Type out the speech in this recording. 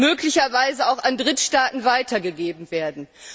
möglicherweise auch an Drittstaaten weitergegeben werden.